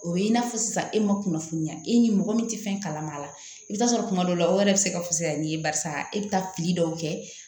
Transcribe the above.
O ye i n'a fɔ sisan e ma kunnafoniya e ni mɔgɔ min tɛ fɛn kalama a la i bɛ taa sɔrɔ kuma dɔ la o yɛrɛ bɛ se ka fisaya n'i ye barisa e bɛ taa pili dɔw kɛ